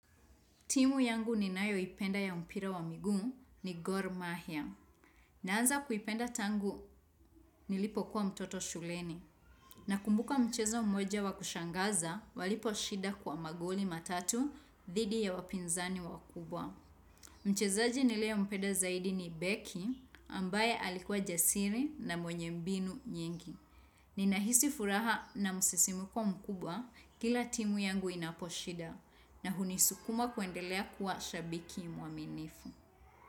Timu yangu ninayoipenda ya mpira wa miguu ni Gor Mahia. Naanza kuipenda tangu nilipokuwa mtoto shuleni. Nakumbuka mchezo mmoja wa kushangaza waliposhinda kwa magoli matatu dhidi ya wapinzani wakubwa. Mchezaji niliyempenda zaidi ni beki ambaye alikuwa jasiri na mwenye mbinu nyingi. Ninahisi furaha na msisimko mkubwa kila timu yangu inaposhinda. Na hunisukuma kuendelea kuwa shabiki mwaminifu.